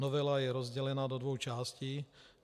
Novela je rozdělena do dvou částí.